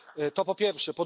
To po pierwsze.